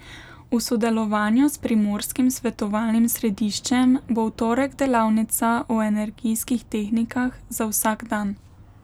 V sodelovanju s Primorskim svetovalnim središčem bo v torek delavnica o energijskih tehnikah za vsak dan.